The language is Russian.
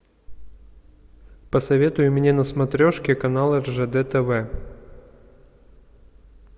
посоветуй мне на смотрешке канал ржд тв